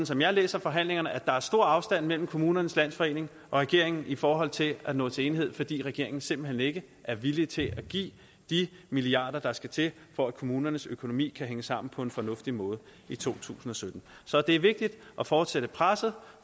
som jeg læser forhandlingerne er der stor afstand mellem kommunernes landsforening og regeringen i forhold til nå til enighed fordi regeringen simpelt hen ikke er villig til at give de milliarder der skal til for at kommunernes økonomi kan hænge sammen på en fornuftig måde i to tusind og sytten så det er vigtigt at fortsætte presset